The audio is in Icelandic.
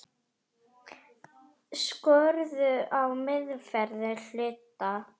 Skorður á meðferð hluta.